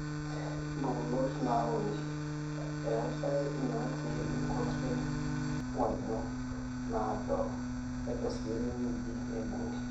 impukunot naauni: eetau inaata inkuti ng'onyo naado nedo sii enewueji neibung'i